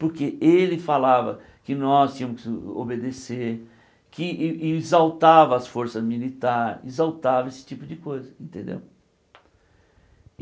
Porque ele falava que nós tínhamos obedecer, que e e exaltava as forças militares, exaltava esse tipo de coisa, entendeu?